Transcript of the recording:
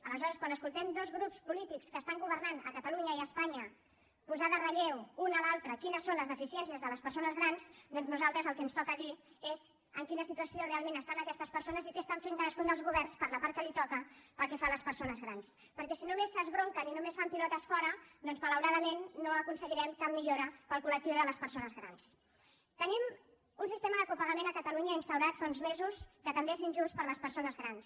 aleshores quan escoltem dos grups polítics que estan governant a catalunya i a espanya posar en relleu un a l’altre quines són les deficiències de les persones grans doncs a nosaltres el que ens toca dir és en quina situació realment estan aquestes persones i què estan fent cadascun dels governs per la part que els toca pel que fa a les persones grans perquè si només s’esbronquen i només fan pilotes fora doncs malauradament no aconseguirem cap millora per al col·tenim un sistema de copagament a catalunya instaurat fa uns mesos que també és injust per a les persones grans